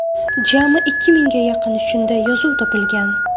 Jami ikki mingga yaqin shunday yozuv topilgan.